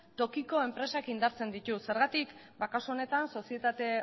tokiko enpresak indartzen ditu zergatik ba kasu honetan sozietate